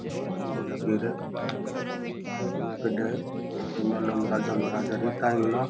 दरवाजे भी लागेडा है बढ़िया गढ़ है राजो महराजो टाइम माँ --